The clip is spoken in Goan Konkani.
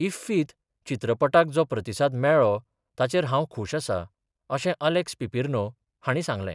इफ्फीत चित्रपटाक जो प्रतिसाद मेळ्ळो ताचेर हांव खुश आसा, अशें अलेक्स पिपेर्नो हांणी सांगलें.